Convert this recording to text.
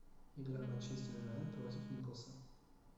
игра манчестер юнайтед против ньюкасла